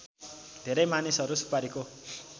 धेरै मानिसहरू सुपारीको